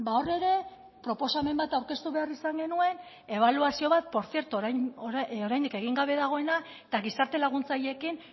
hor ere proposamen bat aurkeztu behar izan genuen ebaluazio bat por cierto oraindik egin gabe dagoena eta gizarte laguntzaileekin